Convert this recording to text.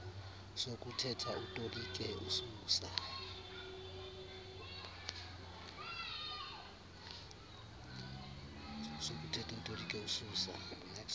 sokuthetha utolike ususa